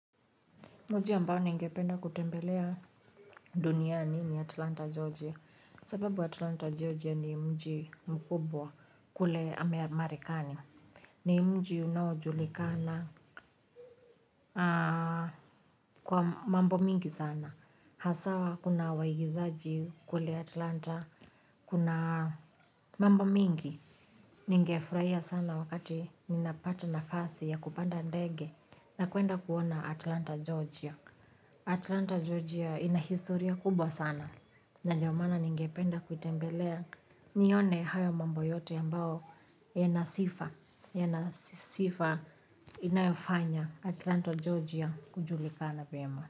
Mji ambao ningependa kutembelea duniani ni Atlanta Georgia, sababu Atlanta Georgia ni mji mkubwa kule marekani ni mji unaojulikana kwa mambo mingi sana, haswa kuna waigizaji kule Atlanta kuna mambo mingi ningefurahia sana wakati ninapata nafasi ya kupanda ndege na kuenda kuona Atlanta Georgia Atlanta Georgia ina historia kubwa sana, na ndio maana ningependa kuitembela nione haya mambo yote ambao yana sifa, yana sifa inayofanya Atlanta Georgia kujulikana vyema.